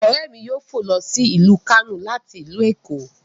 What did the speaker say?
Ọ̀ré mi yóò fọ̀ ló sí ilu Kano láti ilu Eko